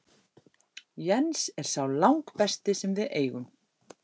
Jens er sá langbesti sem við eigum.